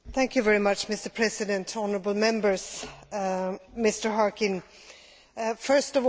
First of all, I would like to say that civil society is one of the key actors in democracy.